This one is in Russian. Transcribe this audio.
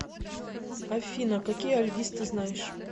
афина какие альгиз ты знаешь